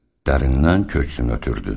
Dərindən köksünü ötürdü.